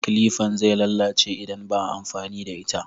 Kilifan zai lalace idan baa amfani da ita